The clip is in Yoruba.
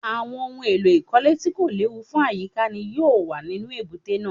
Àwọn ohun èlò ìkọ́lé tí kò léwu fún àyíká ni yóò wà nínú èbúté náà